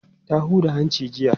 Ta huda hanci jiya.